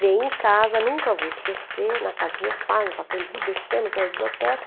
Vem em casa, nunca vou esquecer, na casa dos meus pais, no Pacaembu, descemos a biblioteca,